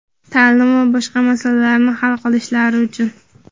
ta’lim va boshqa masalalarni hal qilishlari uchun.